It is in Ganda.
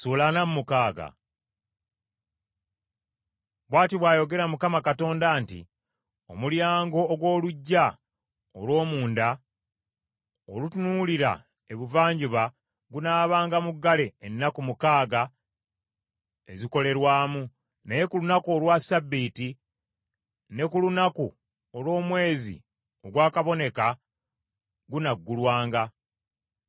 “ ‘Bw’ati bw’ayogera Mukama Katonda nti, Omulyango ogw’oluggya olw’omunda olutunuulira Ebuvanjuba gunaabanga muggale ennaku mukaaga ezikolerwamu, naye ku lunaku olwa Ssabbiiti ne ku lunaku olw’omwezi ogwakaboneka gunaggulwanga.